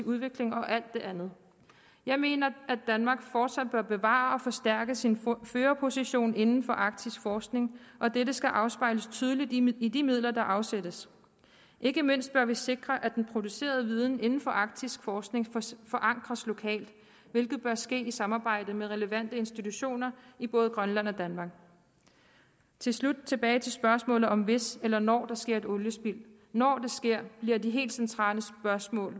udvikling og alt det andet jeg mener at danmark fortsat bør bevare og forstærke sin førerposition inden for arktisk forskning og dette skal afspejles tydeligt i de midler der afsættes ikke mindst bør vi sikre at den producerede viden indenfor arktisk forskning forankres lokalt hvilket bør ske i samarbejde med relevante institutioner i både grønland og danmark tilbage til spørgsmålet om hvis eller når der sker et oliespild når det sker bliver de helt centrale spørgsmål